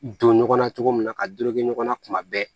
Don ɲɔgɔnna cogo min na ka dorekɛ ɲɔgɔn na kuma bɛɛ